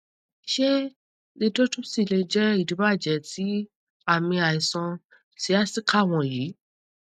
ṣe lithotripsy lè jẹ idibàjẹ ti aami aiṣan sciatica wọnyi